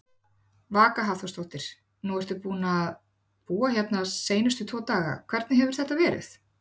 Vaka Hafþórsdóttir: Nú ertu búinn að búa hérna seinustu tvo daga, hvernig hefur þetta verið?